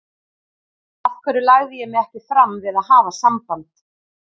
Af hverju lagði ég mig ekki fram við að hafa samband?